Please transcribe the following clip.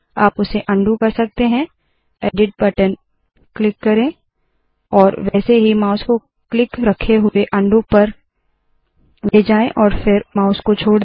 आप उसे उंडो कर सकते है160 एडिट बटन क्लिक करे और वैसे ही माउस को क्लिक रखे हुए उंडो पर ले जाए और फिर माउस को छोड़ दे